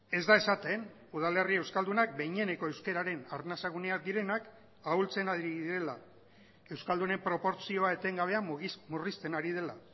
ez da esaten udalerri euskaldunak behineneko euskararen arnasa guneak direnak ahultzen ari direla euskaldunen proportzioa etengabea murrizten ari dela